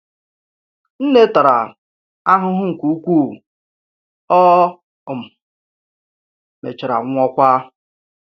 Nne tara ahụhụ nke ukwuu, o um mechara nwụọkwa.